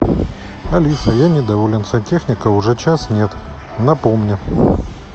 алиса я недоволен сантехника уже час нет напомни